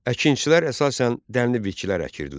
Əkinçilər əsasən dənli bitkilər əkirdilər.